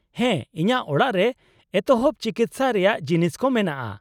-ᱦᱮᱸ, ᱤᱧᱟᱹᱜ ᱚᱲᱟᱜ ᱨᱮ ᱮᱛᱚᱦᱚᱵ ᱪᱤᱠᱤᱥᱥᱟ ᱨᱮᱭᱟᱜ ᱡᱤᱱᱤᱥ ᱠᱚ ᱢᱮᱱᱟᱜᱼᱟ ᱾